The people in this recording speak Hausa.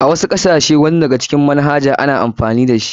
A wasu kasashe wasu daga cikin manhajojin nan an hana amfani da su.